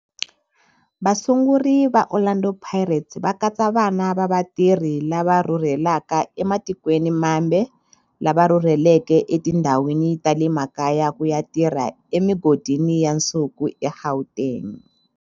Vasunguri va Orlando Pirates va katsa vana va vatirhi lava rhurhelaka ematikweni mambe lava rhurheleke etindhawini ta le makaya ku ya tirha emigodini ya nsuku eGauteng.